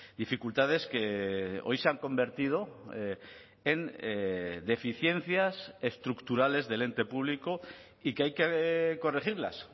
dificultades que hoy se han convertido en deficiencias estructurales del ente público y que hay que corregirlas